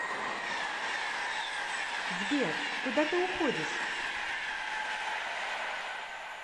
сбер куда ты уходишь